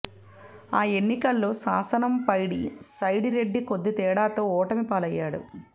ఆ ఎన్నికల్లో శానంపైడి సైడిరెడ్డి కొద్ది తేడాతో ఓటమి పాలయ్యాడు